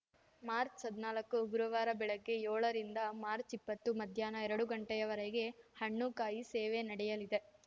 March ಹದ್ನಾಲಕ್ಕು ಗುರುವಾರ ಬೆಳಿಗ್ಗೆ ಏಳ ರಿಂದ ಮಾರ್ಚ್ ಇಪ್ಪತ್ತು ಮಧ್ಯಾಹ್ನ ಎರಡು ಘಂಟೆಯವರಗೆ ಹಣ್ಣು ಕಾಯಿ ಸೇವೆ ನಡೆಯಲಿದೆ